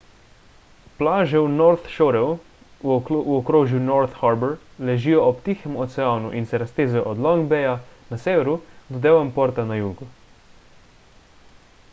plaže v north shoreu v okrožju north harbour ležijo ob tihem oceanu in se raztezajo od long baya na severu do devonporta na jugu